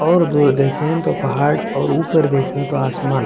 और दूर देखे तो पहाड़ और ऊपर देखे तो आसमान --